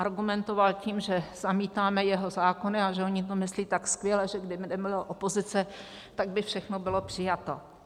Argumentoval tím, že zamítáme jeho zákony a že oni to myslí tak skvěle, že kdyby nebylo opozice, tak by všechno bylo přijato.